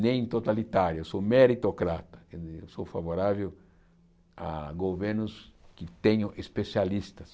nem totalitário, eu sou meritocrata, eu sou favorável a governos que tenham especialistas.